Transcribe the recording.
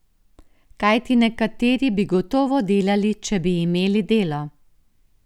Kajti nekateri bi gotovo delali, če bi imeli delo.